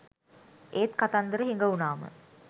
ඒත් කතන්දර හිඟ උනාම